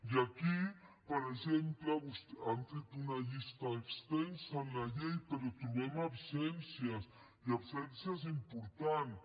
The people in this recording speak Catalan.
i aquí per exemple han fet una llista extensa en la llei però hi trobem absències i absències importants